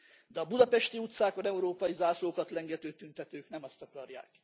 De a budapesti utcákon európai zászlókat lengető tüntetők nem ezt akarják.